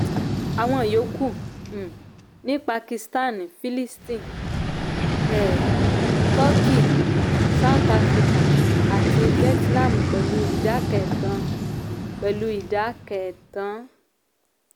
àwọn yòókù um ní pakistan philippines um turkey south africa àti vietnam pẹ̀lú idà kẹẹ́ẹ́tàn. pẹ̀lú idà kẹẹ́ẹ́tàn.